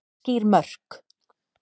Skýr mörk